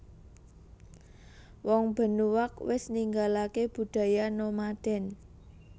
Wong Benuaq wis ninggalake budaya nomaden